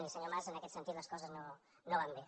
i senyor mas en aquest sentit les coses no van bé